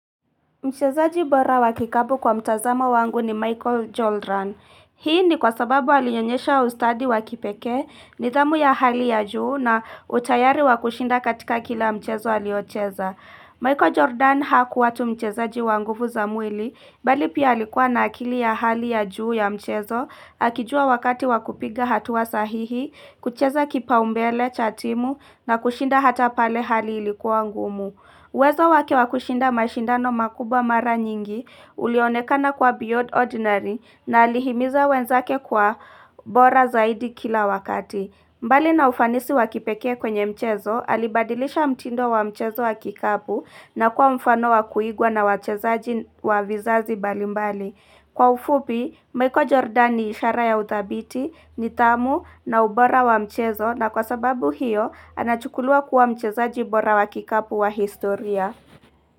Mchezaji bora wakikapu kwa mtazama wangu ni Michael Jordan. Hii ni kwa sababu alionyesha ustadi wakipeke, nidhamu ya hali ya juu na utayari wakushinda katika kila mchezo aliocheza. Michael Jordan hakuwa tu mchezaji wanguvu za mwili, bali pia alikuwa na akili ya hali ya juu ya mchezo, akijua wakati wakupiga hatuwa sahihi, kucheza kipaumbele, cha timu, na kushinda hata pale hali ilikuwa ngumu. Uwezo wake wakushinda mashindano makubwa mara nyingi ulionekana kwa Biod Ordinary na alihimiza wenzake kwa ubora zaidi kila wakati. Mbali na ufanisi wakipekee kwenye mchezo, alibadilisha mtindo wa mchezo wa kikabu na kuwa mfano wa kuigwa na wachezaji wa vizazi balimbali. Kwa ufupi, Michael Jordan ni ishara ya uthabiti nidhamu na ubora wa mchezo na kwa sababu hiyo anachukulua kuwa mcheza bora wa kikapu wa historia.